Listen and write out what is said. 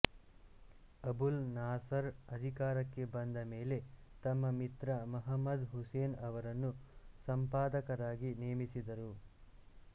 Abul Nasser ಅಧಿಕಾರಕ್ಕೆ ಬಂದ ಮೇಲೆ ತಮ್ಮ ಮಿತ್ರ ಮಹಮದ್ ಹುಸೇನ್ ಅವರನ್ನು ಸಂಪಾದಕರಾಗಿ ನೇಮಿಸಿದರು